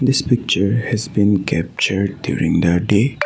this picture has been capture during the day.